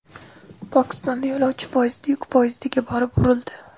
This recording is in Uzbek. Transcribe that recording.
Pokistonda yo‘lovchi poyezdi yuk poyezdiga borib urildi.